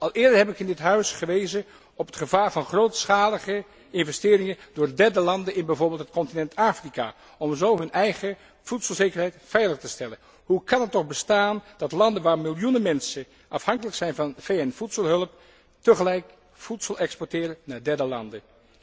Al eerder heb ik in dit parlement gewezen op het gevaar van grootschalige investeringen door derde landen in bijvoorbeeld het continent Afrika, om zo hun eigen voedselzekerheid veilig te stellen. Hoe kan het toch bestaan dat landen waar miljoenen mensen afhankelijk zijn van VN voedselhulp tegelijk voedsel exporteren naar derde landen?